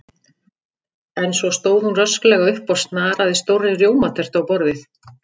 En svo stóð hún rösklega upp og snaraði stórri rjómatertu á borðið.